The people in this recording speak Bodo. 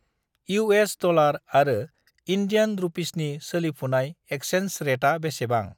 इउ.एस. डलार आरो इन्डियान रुपिसनि सोलोफुनाय एक्सेन्स रेटा बेसेबां?